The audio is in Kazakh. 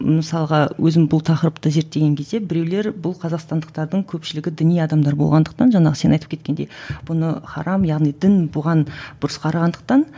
мысалға өзім бұл тақырыпты зерттеген кезде біреулер бұл қазақстандықтардың көпшілігі діни адамдар болғандықтан жаңағы сен айтып кеткендей бұны харам яғни дін бұған бұрыс қарағандықтан